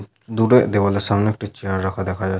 দূরে দেওয়াল এর সামনে একটি চেয়ার রাখা দেখা যাচ --